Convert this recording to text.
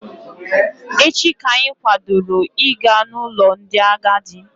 Echi ka anyị kwadoro Ị ga n'ụlọ ndị agadi.